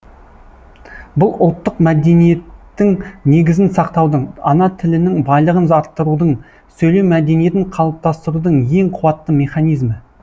бұл ұлттық мәдениеттің негізін сақтаудың ана тілінің байлығын арттырудың сөйлеу мәдениетін қалыптастырудың ең қуатты механизмі